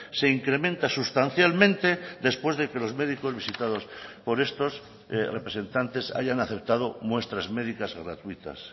se incrementa sustancialmente después de que los médicos visitados por estos representantes hayan aceptado muestras médicas gratuitas